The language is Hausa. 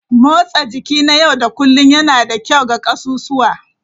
Motsa jiki na yau da kullun yana da kyau ga ƙasusuwa.